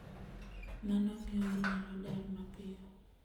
Mano miyo ji nyalo dar mapiyo.